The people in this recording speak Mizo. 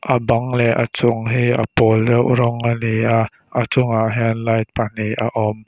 a bang leh a chung hi a pâwl deuh rawng a ni a a chungah hian light pahnih a awm.